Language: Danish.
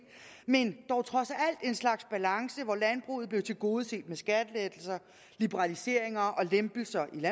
men dog trods alt en slags balance hvor landbruget blev tilgodeset med skattelettelser liberaliseringer og lempelser i